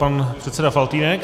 Pan předseda Faltýnek.